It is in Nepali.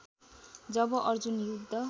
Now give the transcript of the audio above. जब अर्जुन युद्ध